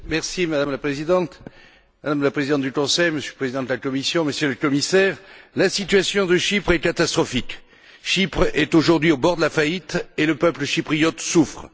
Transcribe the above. Madame la Présidente, Madame la Présidente du Conseil, Monsieur le Président de la Commission, Monsieur le Commissaire, la situation de Chypre est catastrophique. Chypre est aujourd'hui au bord de la faillite et le peuple chypriote souffre.